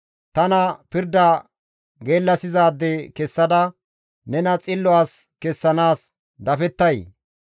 Tana pirda geellasizaade kessada nena xillo as kessanaas dafettay?